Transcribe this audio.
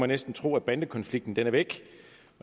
næsten tro at bandekonflikten er væk